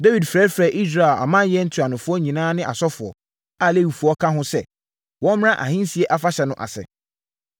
Dawid frɛfrɛɛ Israel amanyɛ ntuanofoɔ nyinaa ne asɔfoɔ, a Lewifoɔ ka ho sɛ, wɔmmra ahensie afahyɛ no ase.